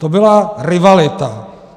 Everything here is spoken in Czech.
To byla rivalita.